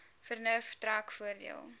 vernuf trek voordeel